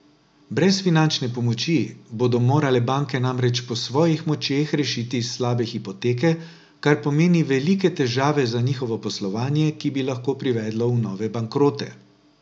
Brez finančne pomoči bodo morale banke namreč po svojih močeh rešiti slabe hipoteke, kar pomeni velike težave za njihovo poslovanje, ki bi lahko privedlo v nove bankrote.